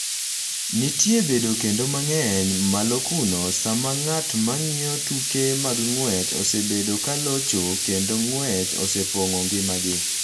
Nitie bedo kende mang’eny malo kuno sama ng’at ma ng’iyo tuke mag ng’wech osebedo ka locho kendo ng’wech osepong’o ngimagi.